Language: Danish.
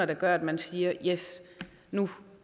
der gør at man siger yes nu